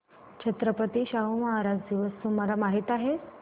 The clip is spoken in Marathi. छत्रपती शाहू महाराज दिवस तुम्हाला माहित आहे